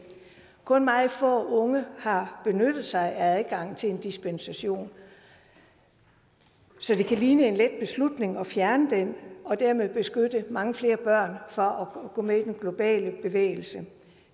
kun meget få unge har benyttet sig af adgangen til en dispensation så det kan ligne en let beslutning at fjerne den og dermed beskytte mange flere børn fra at gå med i den globale bevægelse